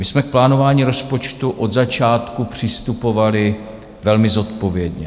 My jsme k plánování rozpočtu od začátku přistupovali velmi zodpovědně.